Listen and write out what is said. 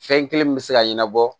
Fɛn kelen min bɛ se ka ɲɛnabɔ